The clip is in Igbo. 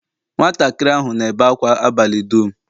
Nwatakịrị ahụ na-ebe ákwá abalị dum.